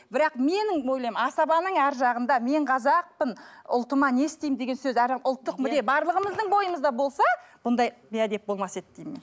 бірақ менің ойлаймын асабаның арғы жағында мен қазақпын ұлтыма не істеймін деген сөз ұлттық мүдде барлығымыздың бойымызда болса бұндай бейәдеп болмас еді деймін мен